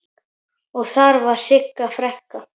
Og þar var Sigga frænka.